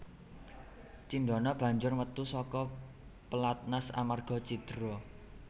Cindana banjur metu saka pelatnas amarga cidra